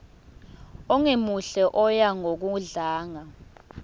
ongemuhle oya ngokudlanga